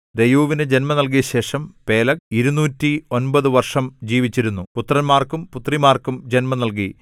രെയൂവിന് ജന്മം നൽകിയശേഷം പേലെഗ് ഇരുനൂറ്റി ഒമ്പത് വർഷം ജീവിച്ചിരുന്നു പുത്രന്മാർക്കും പുത്രിമാർക്കും ജന്മം നൽകി